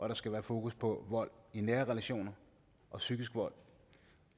der skal være fokus på vold i nære relationer og psykisk vold